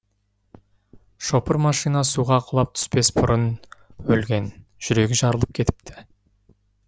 шопыр машина суға құлап түспес бұрын өлген жүрегі жарылып кетіпті